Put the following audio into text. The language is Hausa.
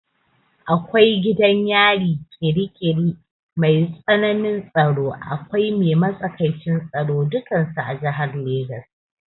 Akwai gidan yari ƙiri ƙiri mai tsanin tsaro, akwai mai matsakaicin tsaro dukansu a jihar Legas.